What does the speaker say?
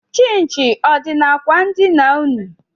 Chịnchị ọ dị n'akwa ndina ụnụ?